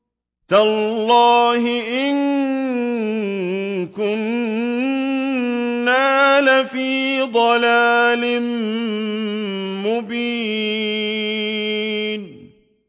تَاللَّهِ إِن كُنَّا لَفِي ضَلَالٍ مُّبِينٍ